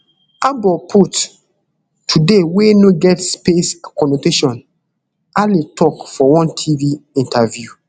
aboput today wey no get space conotation ale tok for one tv interview